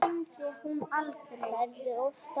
Ferðu oft á völlinn?